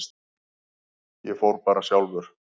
Ég fór bara sjálfur.